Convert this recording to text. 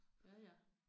Ja ja